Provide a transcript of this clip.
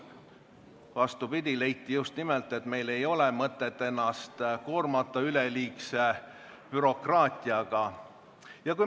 Vastupidi, leiti just nimelt, et meil ei ole mõtet ennast koormata üleliigse bürokraatiaga.